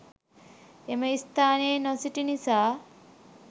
එම ස්‌ථානයේ නොසිටි නිසා